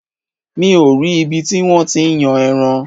Mi ò rí ibi tí wọ́n ti ń yan ẹran.